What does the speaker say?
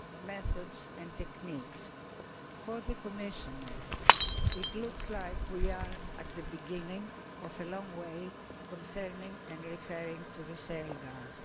methods and techniques. For the Commissioners, it looks like we are at the beginning of a long journey concerning and referring to shale gas.